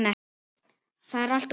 Það er allt útpælt.